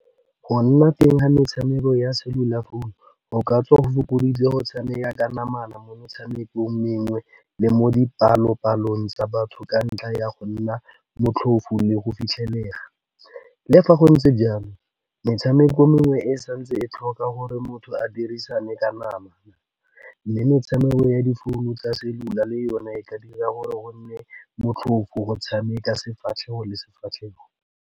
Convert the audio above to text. Go nna teng ga metshameko ya cellular phone, go ka tswa go fokoditse go tshameka ka namana mo metshamekong mengwe, le mo dipalopalong tsa batho, ka ntlha ya go nna motlhoofo le go fitlhelega. Le fa go ntse jalo metshameko mengwe e santse e tlhoka gore motho a dirisane ka nama, le metshameko ya difounu tsa cellular le yone e ka dira gore go nne motlhoofo go tshameka sefatlhego le sefatlhego.